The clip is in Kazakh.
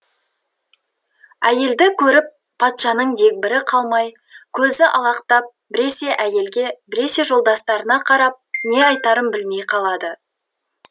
әйелді көріп патшаның дегбірі қалмай көзі алақтап біресе әйелге біресе жолдастарына қарап не айтарын білмей қалады